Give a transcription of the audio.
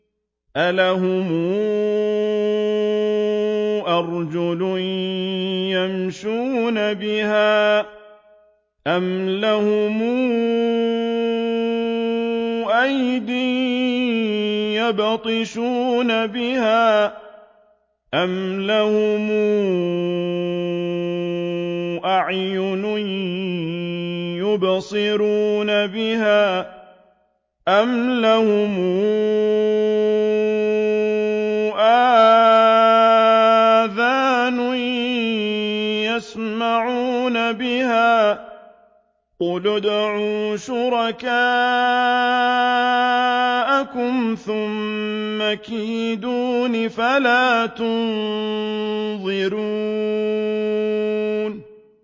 أَلَهُمْ أَرْجُلٌ يَمْشُونَ بِهَا ۖ أَمْ لَهُمْ أَيْدٍ يَبْطِشُونَ بِهَا ۖ أَمْ لَهُمْ أَعْيُنٌ يُبْصِرُونَ بِهَا ۖ أَمْ لَهُمْ آذَانٌ يَسْمَعُونَ بِهَا ۗ قُلِ ادْعُوا شُرَكَاءَكُمْ ثُمَّ كِيدُونِ فَلَا تُنظِرُونِ